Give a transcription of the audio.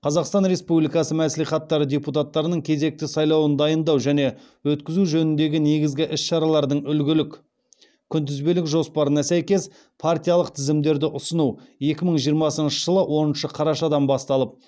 қазақстан республикасы мәслихаттары депутаттарының кезекті сайлауын дайындау және өткізу жөніндегі негізгі іс шаралардың үлгілік күнтізбелік жоспарына сәйкес партиялық тізімдерді ұсыну екі мың жиырмасыншы жылы оныншы қарашадан басталып